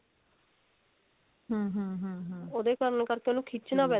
ਉਹਦੇ ਕਰਨ ਕਰਕੇ ਉਹਨੂੰ ਖਿੱਚ ਨਾ